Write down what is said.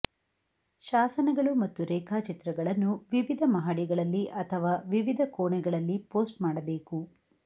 ಶಾಸನಗಳು ಮತ್ತು ರೇಖಾಚಿತ್ರಗಳನ್ನು ವಿವಿಧ ಮಹಡಿಗಳಲ್ಲಿ ಅಥವಾ ವಿವಿಧ ಕೋಣೆಗಳಲ್ಲಿ ಪೋಸ್ಟ್ ಮಾಡಬೇಕು